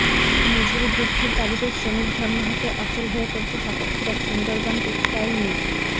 মজুরী বৃদ্ধির দাবিতে শ্রমিক ধর্মঘটে অচল হয়ে পড়েছে সাতক্ষীরার সুন্দরবন টেক্সটাইল মিলস